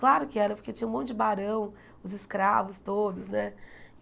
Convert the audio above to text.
Claro que era, porque tinha um monte de barão, os escravos todos, né?